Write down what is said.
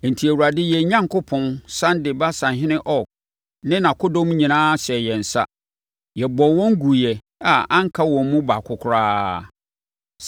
Enti, Awurade, yɛn Onyankopɔn, sane de Basanhene Og ne nʼakodɔm nyinaa hyɛɛ yɛn nsa. Yɛbɔɔ wɔn guiɛ a anka wɔn mu baako koraa.